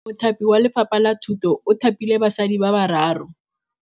Mothapi wa Lefapha la Thutô o thapile basadi ba ba raro.